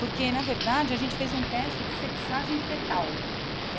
Porque, na verdade, a gente fez um teste de sexagem fetal.